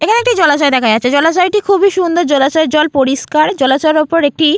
এখানে একটি জলাশয় দেখা যাচ্ছেজলাশয়টি খুবই সুন্দরজলাশয়ের জল পরিষ্কারজলাশয়ের ওপর একটি --